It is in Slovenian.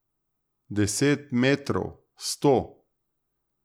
Deset metrov, sto.